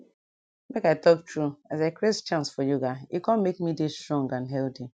make i talk true as i create chance for yoga e com make me dey strong and healthy